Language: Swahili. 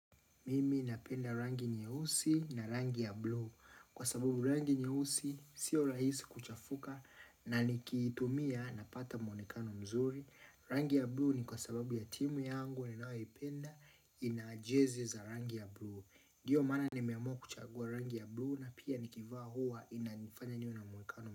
Mimi napenda rangi nyeusi na rangi ya blue Kwa sababu rangi nyeusi sio rahisi kuchafuka na nikiitumia napata mwonekano mzuri Rangi ya blue ni kwa sababu ya timu yangu Ninaoipenda ina jezi za rangi ya blue dio maana nimeamua kuchagua rangi ya blue na pia nikivaa huwa inanifanya niwe na mwonekano mzuri.